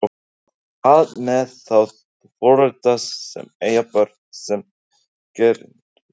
En hvað með þá foreldra sem eiga börn sem eru gerendur?